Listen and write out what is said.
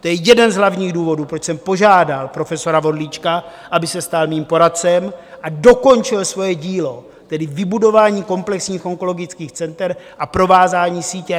To je jeden z hlavních důvodů, proč jsem požádal profesora Vorlíčka, aby se stal mým poradcem a dokončil svoje dílo, tedy vybudování komplexních onkologických center a provázání sítě.